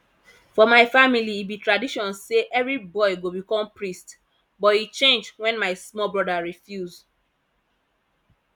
for my family e be tradition say every boy go become priest but e change wen my small broda refuse